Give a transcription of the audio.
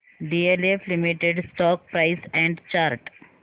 DLF limited stock price and chart